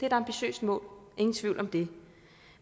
et ambitiøst mål ingen tvivl om det